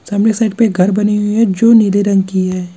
सामने साइड में घर बनी हुई है जो नीले रंग की हैं।